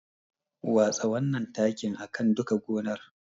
Watsa wannan takin a kan duka gonar.